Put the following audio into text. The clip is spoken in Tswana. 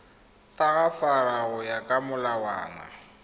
tagafara go ya ka molawana